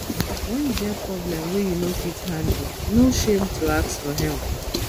wen you get problem wey you no fit handle no shame to ask for help